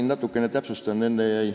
Ma natukene täpsustan.